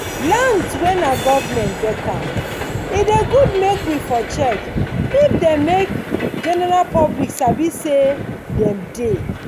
lands wen nah government get am e dey good make we for check if dem make general public sabi say dem dey